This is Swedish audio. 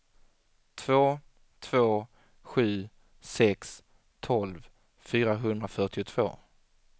två två sju sex tolv fyrahundrafyrtiotvå